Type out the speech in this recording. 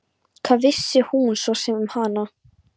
Hvað vissi hann svo sem um hana?